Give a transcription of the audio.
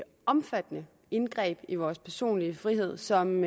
omfattende indgreb i vores personlige frihed som